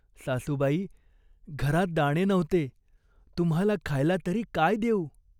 "सासूबाई, घरात दाणे नव्हते. तुम्हाला खायला तरी काय देऊ ?